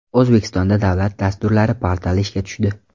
O‘zbekistonda Davlat dasturlari portali ishga tushdi.